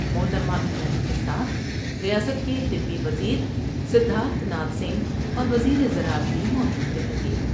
محترمہ ایرانی کے ساتھ ریاست کے طبی وزیر سدھارتھ ناتھ سنگھ اور وزیر زراعت بھی موجود رہیں گے ۔